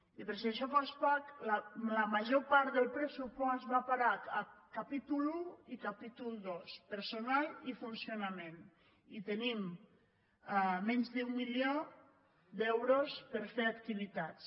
i per si això fos poc la major part del pressupost va a parar a capítol i i capítol ii personal i funcionament i tenim menys d’un milió d’euros per fer activitats